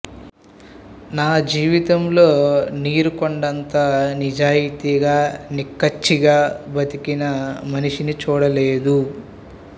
నా జీవితంలో నీరుకొండ అంత నిజాయితీగా నిక్కచ్చిగా బ్రతికిన మనిషిని చూడలేదు